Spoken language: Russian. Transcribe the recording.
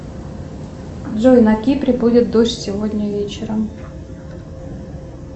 джой на кипре будет дождь сегодня вечером